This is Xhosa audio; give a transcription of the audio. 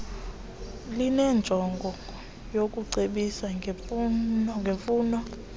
linenjongo yokucebisa ngemfuno